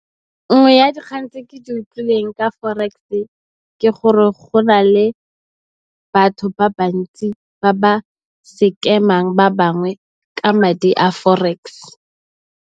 Nngwe ya dikgang tse ke di utlwileng ka Forex ke gore go na le batho ba bantsi ba ba sekemang ba bangwe ka madi a Forex.